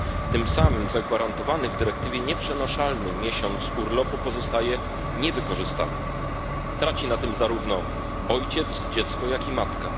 Tym samym zagwarantowany w dyrektywie nieprzenaszalny miesiąc urlopu pozostaje niewykorzystany, traci na tym zarówno ojciec, dziecko, jak i matka.